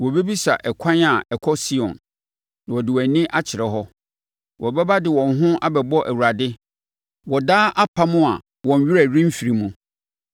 Wɔbɛbisa ɛkwan a ɛkɔ Sion na wɔde wɔn ani akyerɛ hɔ. Wɔbɛba de wɔn ho abɛbɔ Awurade wɔ daa apam a wɔn werɛ remfiri mu.